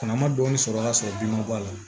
Kɔnɔ ma dɔɔnin sɔrɔ ka sɔrɔ bin ma bɔ a la